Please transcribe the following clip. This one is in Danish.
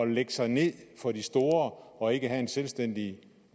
lægge sig ned for de store og ikke have en selvstændig